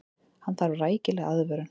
Hann þarf rækilega aðvörun.